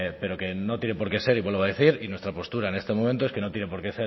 pero que no tiene por qué ser y vuelvo a decir y nuestra postura en este momento es que no tiene por qué